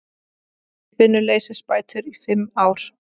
Atvinnuleysisbætur í fimm ár